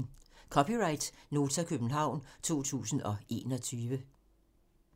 (c) Nota, København 2021